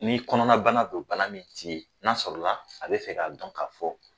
N'i kɔnɔnabana don bana min ti ye n'a sɔrɔla a be fɛ k'a dɔn ka fɔ